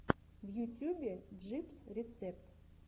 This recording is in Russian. в ютюбе джибс рецепт